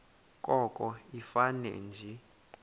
koko ifane nje